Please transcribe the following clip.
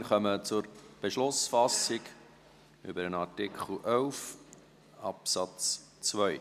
Wir kommen zur Beschlussfassung über den Artikel 11 Absatz 2.